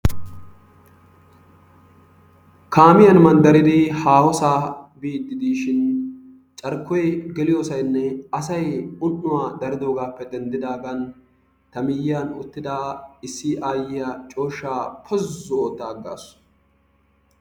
Kaamiyaan mandaridi haahosaa biidi diishsin carkkoy geliyosaynne asay un'uwaa daridoogaasppe dendidaagan ta miyiyan uttida issi ayyiya cooshshaa pozzu otta aggaasu.